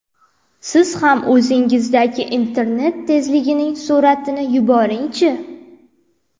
siz ham o‘zingizdagi internet tezligining suratini yuboringchi.